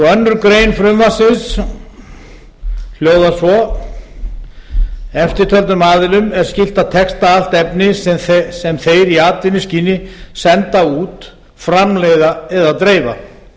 önnur grein frumvarpsins hljóðar svo eftirtöldum aðilum er skylt að texta allt efni sem þeir í atvinnuskyni senda út framleiða eða dreifa